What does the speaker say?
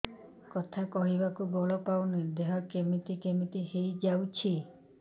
କଥା କହିବାକୁ ବଳ ପାଉନି ଦେହ କେମିତି କେମିତି ହେଇଯାଉଛି